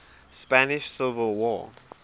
spanish civil war